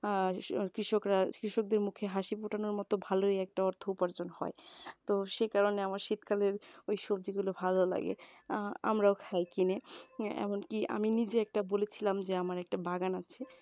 আর কৃষকরা কৃষকদের মুখে হাসি ফোটানোর মতো ভালোই একটা অর্থ উপার্জন হয়। তো সে কারণে আমার শীতকালের ঐ সবজি গুলো ভালো লাগে অ্যাঁ আমরাও খাই কিনে আহ এমনকি আমি যে বলেছিলাম যে আমার একটা বাগান আছে